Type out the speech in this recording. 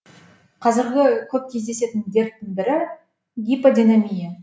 қазіргі көп кездесетін дерттің бірі гиподинамия